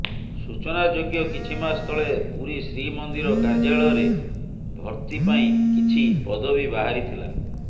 ସୂଚନାଯୋଗ୍ୟ କିଛି ମାସ ତଳେ ପୁରୀ ଶ୍ରୀମନ୍ଦିର କାର୍ଯ୍ୟାଳୟରେ ଭର୍ତ୍ତି ପାଇଁ କିଛି ପଦବି ବାହାରିଥିଲା